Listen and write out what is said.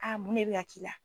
mun ne bɛ ka k'i la.